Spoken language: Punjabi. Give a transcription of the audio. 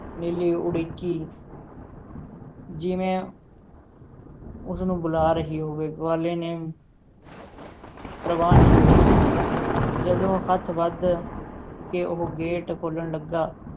ਨੀਲੀ ਉੜੀਕੀ ਜਿਵੇਂ ਉਸ ਨੂੰ ਬੁਲਾ ਰਹੀ ਹੋਵੇ ਗਵਾਲੇ ਨੇ ਪ੍ਰਵਾਹ ਨਹੀਂ ਕੀਤੀ, ਜਦੋਂ ਹੱਥ ਵੱਧ ਕੇ ਉਹ gate ਖੋਲ੍ਹਣ ਲੱਗਾ,